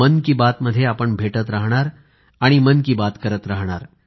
मन की बात मध्ये आपण भेटत राहणार आणि मन की बात करत राहणार